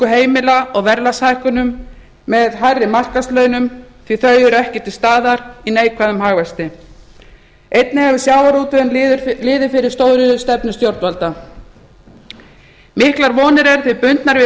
heimila og verðlagshækkunum með hærri markaðslaunum því þau eru ekki til staðar í neikvæðum hagvexti einnig hefur sjávarútvegurinn liðið fyrir stóriðjustefnu stjórnvalda miklar vonir eru því bundnar við